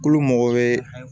Tulo mɔgɔ bɛ